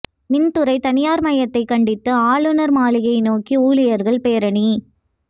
மின் துறை தனியாா்மயத்தைக் கண்டித்து ஆளுநா் மாளிகை நோக்கி ஊழியா்கள் பேரணி